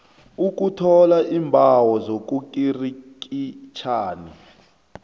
ukuthola iimbawo zobukirikitjani